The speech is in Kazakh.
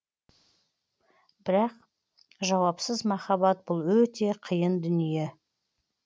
бірақ жауапсыз махаббат бұл өте қиын дүние